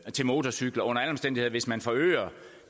til motorcykler under alle omstændigheder hvis man forøger